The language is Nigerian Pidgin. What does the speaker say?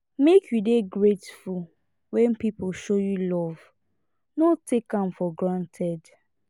make you dey grateful when people show you love no take am for granted